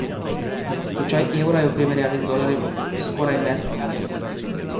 Tečaj evra je v primerjavi z dolarjem skoraj nespremenjen.